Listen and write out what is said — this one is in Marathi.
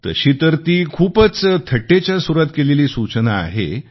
तशी तर ती खूपच थट्टेच्या सुरात केलेली सूचना आहे